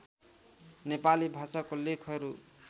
नेपाली भाषाको लेखहरू